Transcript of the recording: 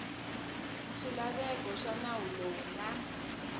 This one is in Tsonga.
swilaveko swa nawu lowu na